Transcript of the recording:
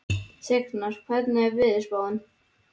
Signar, hvernig er veðurspáin?